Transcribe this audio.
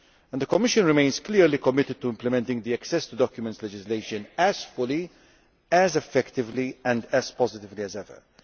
The Commission remains clearly committed to implementing access to documents legislation as fully, effectively and positively as ever.